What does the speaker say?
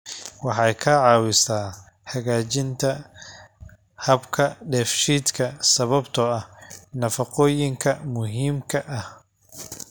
Waxay ka caawisaa hagaajinta habka dheefshiidka sababtoo ah nafaqooyinka muhiimka ah.